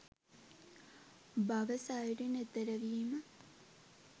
භව සයුරින් එතෙරවීම